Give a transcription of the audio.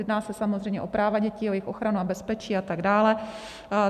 Jedná se samozřejmě o práva dětí, o jejich ochranu a bezpečí a tak dále.